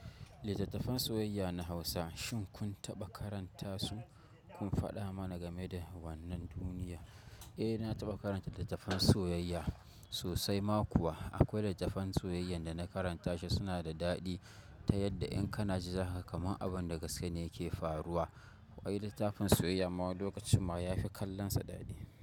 Littattafan soyayya na Hausa shin kun taɓa karanta su? Kun faɗa mana game da wannan duniya? Eh, na taɓa karanta littattafan soyayya sosai ma kuwa. Akwai littafan soyayyan da na karanta su suna da daɗi. Ta yadda in kana ji haka kamar abin da gaske ne yake faruwa. Wai litafin soyayya ma lokacin ma yafi kallonsa dadi.